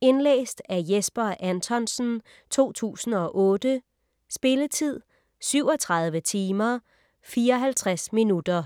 Indlæst af Jesper Anthonsen, 2008. Spilletid: 37 timer, 54 minutter.